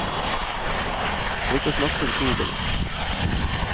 For ikke å snakke om togene.